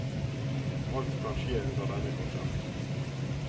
Alt kan skje under denne konserten.